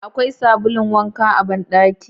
Akwai sabulun wanka a ban daki?.